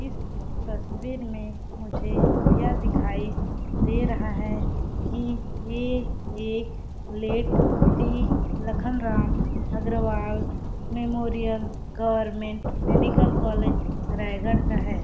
इस तस्वीर में मुझे यह दिखाई दे रहा है कि ये एक late Shri Lakhanram Agrawal memorial government medical college Raigarh का है।